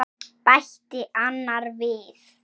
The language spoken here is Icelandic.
bætti annar við.